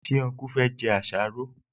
Ṣé ọnkú fẹ́ jẹ àsáró?